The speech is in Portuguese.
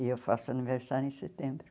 E eu faço aniversário em setembro.